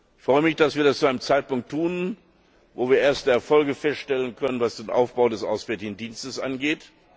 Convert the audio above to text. Ich freue mich, dass wir das zu einem Zeitpunkt tun, zu dem wir erste Erfolge feststellen können, was den Aufbau des Auswärtigen Dienstes angeht.